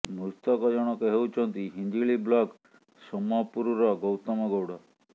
ମୃତକ ଜଣକ ହେଉଛନ୍ତି ହିଞ୍ଜିଳି ବ୍ଲକ୍ ସୋମପୁରର ଗୌତମ ଗୌଡ଼